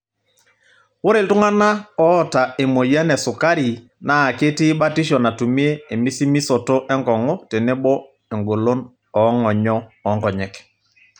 Ore iltung'ana oota emoyian esukari naa ketii batisho natumie emisimisoto enkongu tenebo engolon oongonyo oonkonyek.